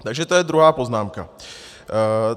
Takže to je druhá poznámka.